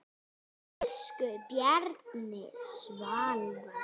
Elsku Bjarni Salvar.